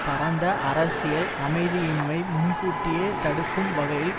பரந்த அரசியல் அமைதியின்மை முன்கூட்டியே தடுக்கும் வகையில்